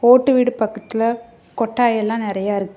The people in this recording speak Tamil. ஓட்டு வீடு பக்கத்துல கொட்டாய் எல்லா நிறைய இரு --